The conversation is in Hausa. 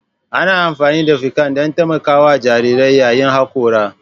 Ana amfani da ficcan don taimakawa jarirai yayin hakora